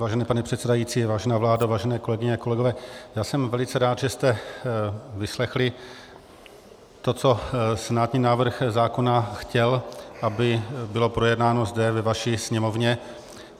Vážený pane předsedající, vážená vládo, vážené kolegyně a kolegové, já jsem velice rád, že jste vyslechli to, co senátní návrh zákona chtěl, aby bylo projednáno zde ve vaší Sněmovně.